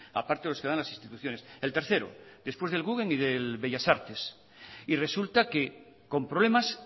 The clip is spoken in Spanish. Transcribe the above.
a parte lo que dan las instituciones el tercero después del guggenheim y del bellas artes y resulta que con problemas